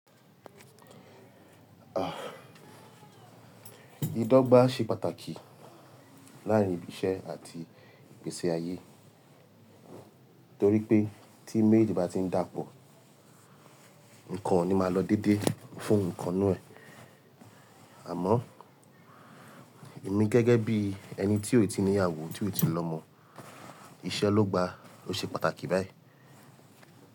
Idọgba ṣe pàtàkì láàárín ibi iṣẹ́ àti ìgbésí-ayé torí pé tí méjèèjì bá ti ń dàpọ̀, nǹkan ò ní máa lọ déédéé fún ìkan ńnú ẹ̀. Àmọ́ èmi gẹ́gẹ́ bí ẹni tí ó tíì níyàwó tí ó tíì lọ́mọ, iṣẹ́ ló gba ló ṣe pàtàkì báyìí.